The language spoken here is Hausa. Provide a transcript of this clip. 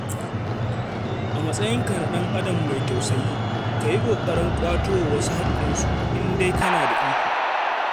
A matsayinka na ɗan'adam mai tausayi, ka yi ƙoƙarin ƙwato wa wasu haƙƙinsu in dai kana da iko.